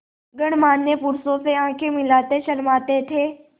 गणमान्य पुरुषों से आँखें मिलाते शर्माते थे